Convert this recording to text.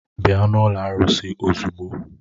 Bịa n'ụlọ arụsị ozugbo!